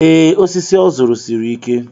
Ee, osisi ọ zụrụ siri ike.